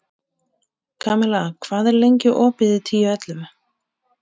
Kamilla, hvað er lengi opið í Tíu ellefu?